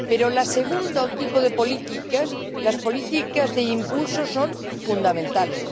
Pero el segundo tipo de políticas las políticas de impulso son fundamentales.